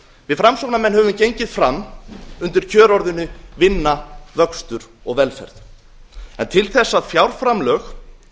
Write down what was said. við framsóknarmenn höfum gengið fram undir kjörorðinu vinna vöxtur og velferð til þess að fjárframlög